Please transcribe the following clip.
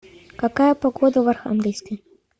какая погода в архангельске